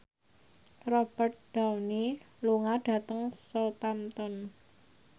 Robert Downey lunga dhateng Southampton